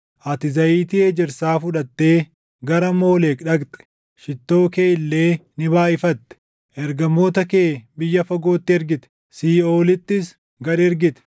Ati zayitii ejersaa fudhattee gara Moolek dhaqxe; shittoo kee illee ni baayʼifatte. Ergamoota kee biyya fagootti ergite; siiʼoolittis gad ergite!